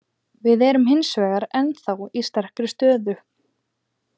Við erum hins vegar ennþá í sterkri stöðu.